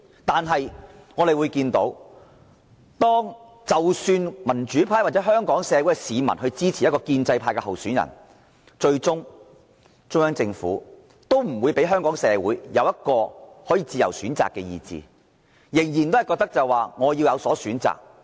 但是，我們見到，即使民主派或香港市民支持一名建制派的候選人，最終中央政府也不會讓香港市民享有自由選擇的權利，仍然覺得他們要有所篩選。